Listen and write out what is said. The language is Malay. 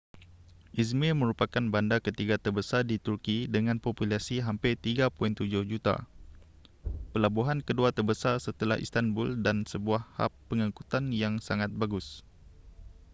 izmir merupakan bandar ketiga terbesar di turki dengan populasi hampir 3.7 juta pelabuhan kedua terbesar setelah istanbul dan sebuah hab pengangkutan yang sangat bagus